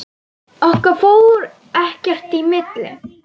Okkar fór ekkert í milli.